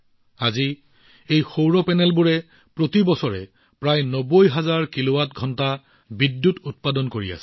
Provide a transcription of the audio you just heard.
আজি প্ৰতি বছৰে এই সৌৰ পেনেলবোৰৰ পৰা প্ৰায় ৯০ হাজাৰ কিলোৱাট ঘণ্টা বিদ্যুৎ উৎপাদন কৰা হৈছে